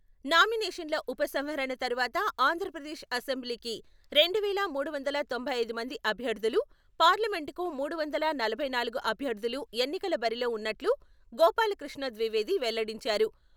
నామినేషన్ల ఉపసంహరణ తరవాత ఆంధ్రప్రదేశ్ అసెంబ్లీకి రెండు వేల మూడు వందల తొంభై ఐదు మంది అభ్యర్థులు, పార్లమెంటుకు మూడు వందల నలభై నాలుగు అభ్యర్థులు ఎన్నికల బరిలో ఉన్నట్లు గోపాలకృష్ణ ద్వివేది వెల్లడించారు.